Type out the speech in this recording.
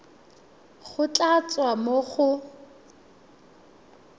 go tla tswa mo go